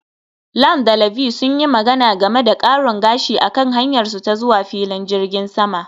Lan da Ivy sun yi magana game da karin gashi a kan hanyarsu ta zuwa filin jirgin sama